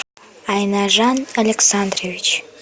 айнажан александрович